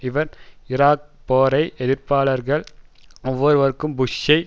இவர் ஈராக் போரை எதிர்ப்பவர்கள் ஒவ்வொருவருக்கும் புஷ்ஷை